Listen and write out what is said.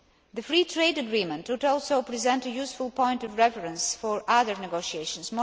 The free trade agreement would also present a useful point of reference for other negotiations.